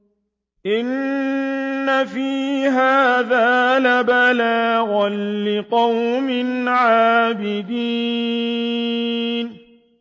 إِنَّ فِي هَٰذَا لَبَلَاغًا لِّقَوْمٍ عَابِدِينَ